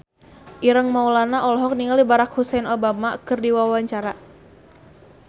Ireng Maulana olohok ningali Barack Hussein Obama keur diwawancara